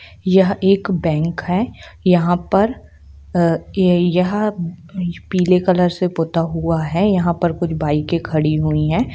यहाँ एक बैंक है यहाँ पर अ-ये-यहाँ पीले कलर से पुत्ता हुआ है यहाँ पर कुछ बाइके खड़ी हुई है।